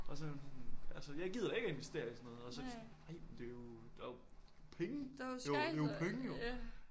Og så var hun sådan altså jeg gider da ikke at investere i sådan noget så de sådan nej men det jo der jo penge! Det det jo penge jo!